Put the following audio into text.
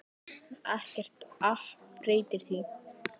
Ekkert app breytir því.